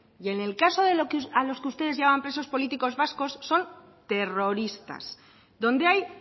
y en el caso de a los que ustedes llaman presos políticos vascos son terroristas donde hay